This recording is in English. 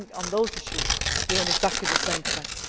I think on those issues, we are in exactly the same place.